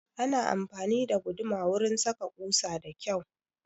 Ana amfani da guduma wurin saka ƙusa da kyau